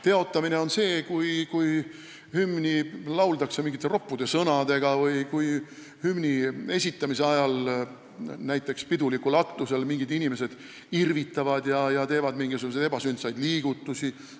Teotamine on see, kui hümni lauldakse mingite roppude sõnadega või kui hümni esitamise ajal, näiteks pidulikul aktusel, mingid inimesed irvitavad ja teevad ebasündsaid liigutusi.